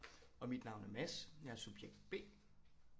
Og mit navn er Mads jeg er subjekt B